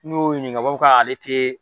N'i y'o ɲininka o b'a fɔ k'ale tɛ